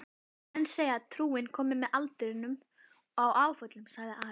Menn segja trúin komi með aldrinum og áföllunum, sagði Ari.